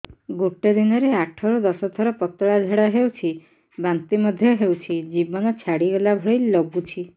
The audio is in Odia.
ଗୋଟେ ଦିନରେ ଆଠ ରୁ ଦଶ ଥର ପତଳା ଝାଡା ହେଉଛି ବାନ୍ତି ମଧ୍ୟ ହେଉଛି ଜୀବନ ଛାଡିଗଲା ଭଳି ଲଗୁଛି